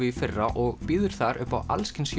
í fyrra og býður þar upp á alls kyns